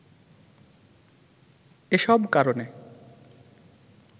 এসব কারণে